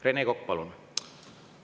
Rene Kokk, palun!